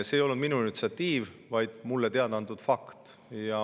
See ei olnud minu initsiatiiv, vaid mulle teada antud fakt.